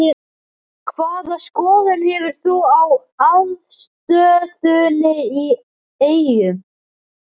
Hvaða skoðun hefur þú á aðstöðunni í Eyjum?